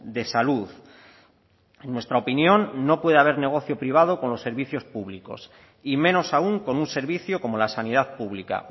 de salud en nuestra opinión no puede haber negocio privado con los servicios públicos y menos aún con un servicio como la sanidad pública